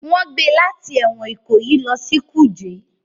Wọn gbé láti ẹwọn Ikoyi lọ sí ẹwọn kuje